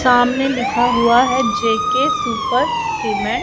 सामने लिखा हुआ है जे_के सुपर सीमेंट --